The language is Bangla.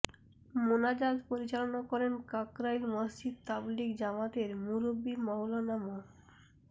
মোনাজাত পরিচালনা করেন কাকরাইল মসজিদ তাবলিগ জামাতের মুরুব্বি মাওলানা মো